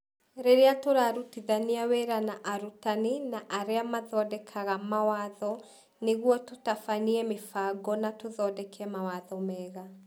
Rĩrĩa tũrarutithania wĩra na arutani na arĩa mathondekaga mawatho nĩguo tũtabanie mĩbango na tũthondeke mawatho mega.